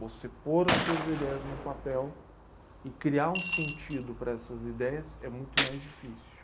Você pôr as suas ideias num papel e criar um sentido para essas ideias é muito mais difícil.